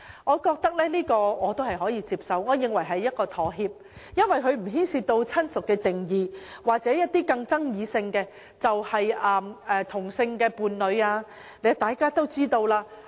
我認為這項修訂可取，可視為一種妥協，無須牽涉親屬的定義或更具爭議性的同性伴侶定義。